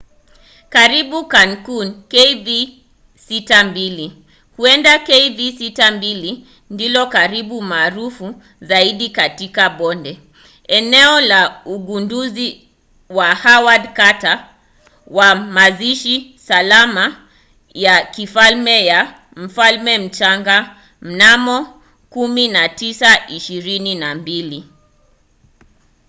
kaburi la tutankhamun kv62. huenda kv62 ndilo kaburi maarufu zaidi katika bonde eneo la ugunduzi wa howard carter wa mazishi salama ya kifalme ya mfalme mchanga mnamo 1922